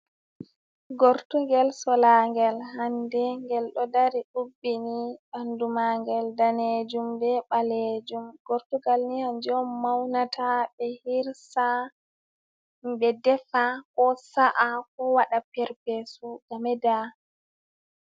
Gortugel sola ngel hande ngel ɗo dari ubbini, ɓandu magel danejum, be ɓalejum, gortugal ni kanjum on maunata ɓe hirsa, ɓe defa, ko sa’a, ko waɗa perpesu ngam vela.